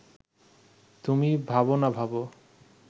তুমি ভাব না ভাব